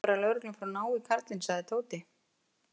Ég vona bara að lögreglan fari að ná í karlinn sagði Tóti.